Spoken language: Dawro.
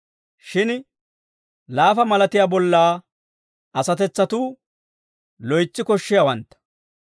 Shin laafa malatiyaa bollaa asatetsatuu loytsi koshshiyaawantta.